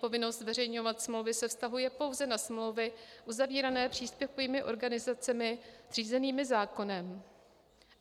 Povinnost zveřejňovat smlouvy se vztahuje pouze na smlouvy uzavírané příspěvkovými organizacemi zřízenými zákonem.